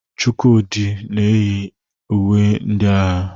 Chukwudi yi uwe ndị agha.